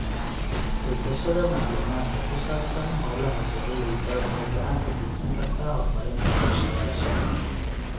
Haysashada macluumaadka ku saabsan hawlaha beeralayda waxay gacan ka geysan kartaa horumarinta qorshayaasha.